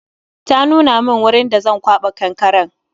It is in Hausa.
Ta nuna min wurin da Zan kwaba kankaren